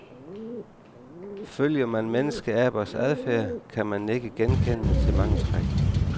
Følger man menneskeabers adfærd, kan man nikke genkendende til mange træk.